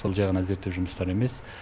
сол жай ғана зерттеу жұмыстары емес